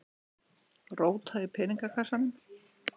Róta í peningakassanum.